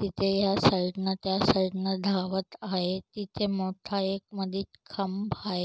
तिथ या साइड न त्या साइड न धावत आहेत तिथ मोठा एक मध्येच खांब आहे.